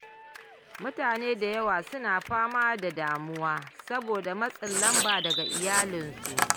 Mutane da yawa suna fama da damuwa saboda matsin lamba daga iyalansu.